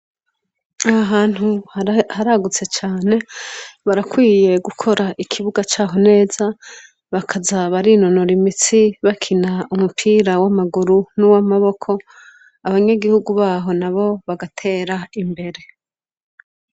Ahahantu haragutse cane barakwiye gukora ikibuga caho neza bakaza barinonora imitsi bakina umupira w'amaguru nuw'amaboko. Abanyagihugu baho nabo bagatera imbere.